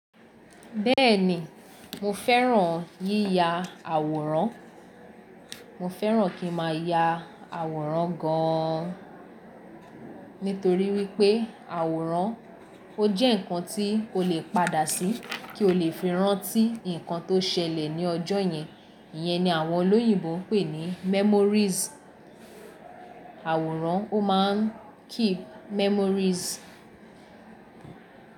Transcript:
Bẹ́ẹ̀ni mo fẹ́ràn yíya àwòrán, mo fẹ́ràn kí ma ya àwòrán gan an. Nítorí wípé àwòrán ó jẹ́ ǹkan tí o lè padà sí kí o lè fi rántí ǹkan tó ṣẹlẹ̀ ní ọjọ́ yẹn. Iyẹn ni àwọn olóyìnbo m pè ní memories. Àwòrán ó máa ń keep memories.